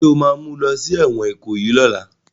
Ṣé o ma mú lọ sí ẹ̀wọ̀n Ìkòyí lọ́la?